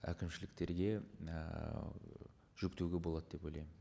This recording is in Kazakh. әкімшіліктерге ііі жүктеуге болады деп ойлаймын